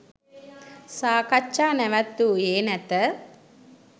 සාකච්ජා නැවැත්වූයේ නැත